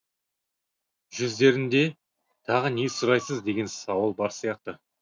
жүздерінде тағы не сұрайсыз деген сауал бар сияқты